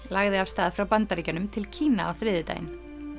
lagði af stað frá Bandaríkjunum til Kína á þriðjudaginn